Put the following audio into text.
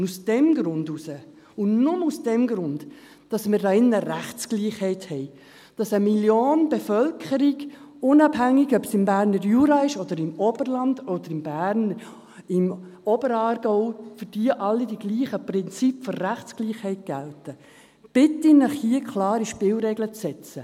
Aus diesem Grund und nur aus diesem Grund, dass wir hier drin Rechtsgleichheit haben, dass für eine Million der Bevölkerung, unabhängig, ob es im Berner Jura ist oder im Oberland oder in Berner Oberaargau, dass für diese alle die gleichen Prinzipien der Rechtsgleichheit gelten, bitte ich Sie hier, klare Spielregeln zu setzen.